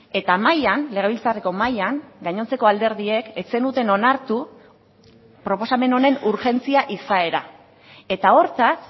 eta mahaian legebiltzarreko mahaian gainontzeko alderdiek ez zenuten onartu proposamen honen urgentzia izaera eta hortaz